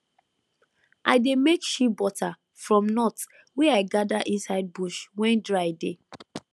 i dey make shea butter from nut wey i gather inside bush when dry dey